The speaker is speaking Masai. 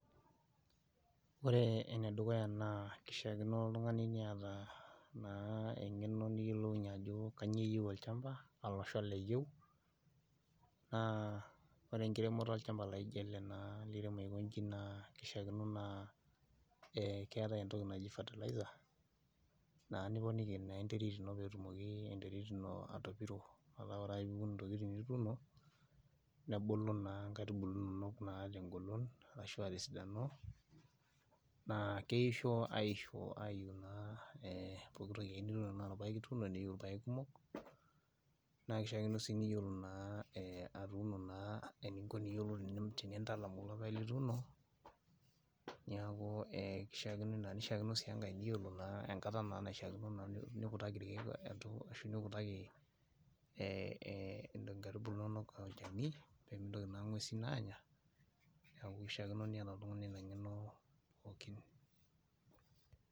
Ore enedukuya naa kishiakino oltung'ani niata naa eng'eno niyiolounyie ajo kanyio eyieu olchamba alo shala eyieu naa ore enkiremoto olchamba laijo ele naa liremo aikonji naa kishiakino naa eh keetae entoki naji fertilizer naa niponiki naa enterit ino petumoki enterit ino atopiro metaa ore piun intokitin nituuno nebulu naa inkaitubulu inonok tengolon arashua tesidano naa keisho aisho ayu naa eh pokitoki ake nituuno tanaa irpayek ituuno neiu irpayek kumok naa kishiakino sii niyiolo naa eh atuuno naa eninko niyiolou eni ko tenintalam kulo payek lituuno niaku e kishiakino ina nishiakino sii enkae niyiolo naa enkata naa naishiakino naa kutaki irkeek etu ashu nikutaki eh inkaitubulu inonok olchani pemitoki naa ing'uesin aanya niaku kishiakino niata oltung'ani ina ng'eno pookin.